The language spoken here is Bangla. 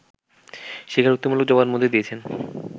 স্বীকারোক্তিমূলক জবানবন্দি দিয়েছেন